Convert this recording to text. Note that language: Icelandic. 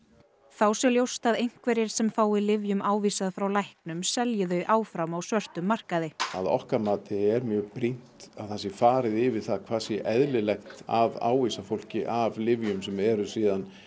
þá sé ljóst að einhverjir sem fái lyfjum ávísað frá læknum selji þau áfram á svörtum markaði að okkar mati er mjög brýnt að það sé farið yfir það hvað sé eðlilegt að ávísa fólki af lyfjum sem eru síðan